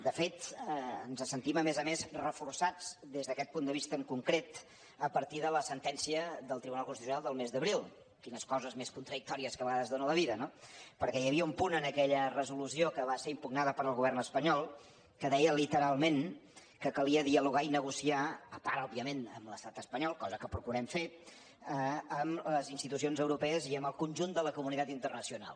de fet ens sentim a més a més reforçats des d’aquest punt de vista en concret a partir de la sentència del tribunal constitucional del mes d’abril quines coses més contradictòries que a vegades dóna la vida no perquè hi havia un punt en aquella resolució que va ser impugnada pel govern espanyol que deia literalment que calia dialogar i negociar a part òbviament amb l’estat espanyol cosa que procurem fer amb les institucions europees i amb el conjunt de la comunitat internacional